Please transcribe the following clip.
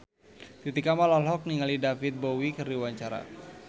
Titi Kamal olohok ningali David Bowie keur diwawancara